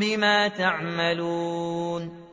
بِمَا تَعْمَلُونَ